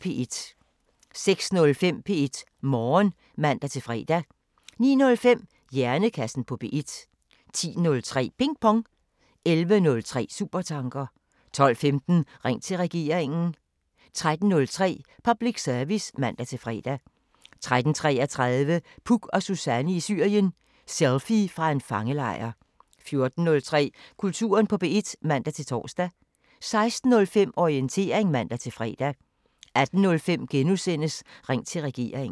06:05: P1 Morgen (man-fre) 09:05: Hjernekassen på P1 10:03: Ping Pong 11:03: Supertanker 12:15: Ring til Regeringen 13:03: Public Service (man-fre) 13:33: Puk og Suzanne i Syrien: Selfie fra en fangelejr 14:03: Kulturen på P1 (man-tor) 16:05: Orientering (man-fre) 18:05: Ring til Regeringen *